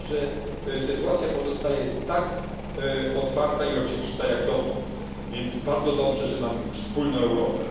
Także sytuacja pozostaje tak otwarta i oczywista jak dotąd, więc bardzo dobrze, że mamy już wspólną Europę.